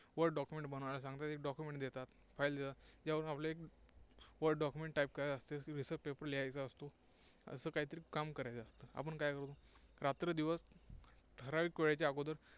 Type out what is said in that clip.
word document बनवायला सांगतात, एक document देतात. File देतात. त्यावर आपले एक Word document Type करायचे असते. research paper लिहायचा असतो, असं काही तरी काम करायचं असतं. आपण काय करतो, रात्रंदिवस ठराविक वेळेच्या अगोदर